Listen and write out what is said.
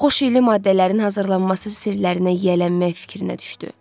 Xoşelli maddələrin hazırlanması sirlərinə yiyələnmək fikrinə düşdü.